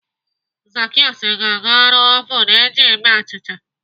Zacheaus ka ga-arụ ovun o ji eme achịcha